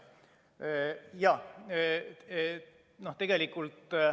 Jaa.